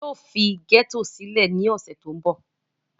yóò fi gẹ́tò sílẹ̀ ní ọ̀sẹ̀ tó ń bọ̀